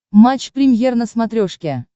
матч премьер на смотрешке